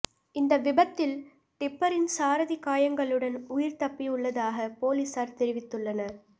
இந்த விபத்தில் டிப்பரின் சாரதி காயங்களுடன் உயிர் தப்பியுள்ளதாக பொலிஸார் தெரிவித்துள்ளனர்